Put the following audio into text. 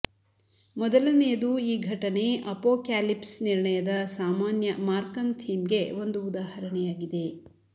ಮೊದಲನೆಯದು ಈ ಘಟನೆ ಅಪೋಕ್ಯಾಲಿಪ್ಸ್ ನಿರ್ಣಯದ ಸಾಮಾನ್ಯ ಮಾರ್ಕನ್ ಥೀಮ್ಗೆ ಒಂದು ಉದಾಹರಣೆಯಾಗಿದೆ